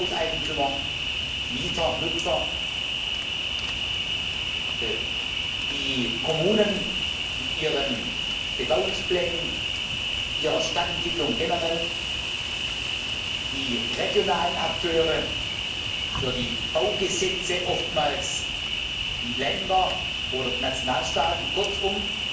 Hauseigentümer Mieter, Nutzer, die Kommunen mit ihren Bebauungsplänen, ihrer Stadtentwicklung generell, die regionalen Akteure für die Baugesetze, oftmals die Länder oder die Nationalstaaten, kurzum